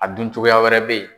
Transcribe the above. A dun cogoya wɛrɛ be yen